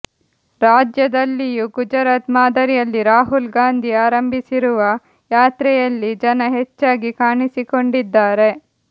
ರಾಜ್ಯದಲ್ಲಿಯೂ ಗುಜರಾತ್ ಮಾದರಿಯಲ್ಲಿ ರಾಹುಲ್ ಗಾಂಧಿ ಆರಂಭಿಸಿರುವ ಯಾತ್ರೆಯಲ್ಲಿ ಜನ ಹೆಚ್ಚಾಗಿ ಕಾಣಿಸಿಕೊಂಡಿದ್ದಾರೆ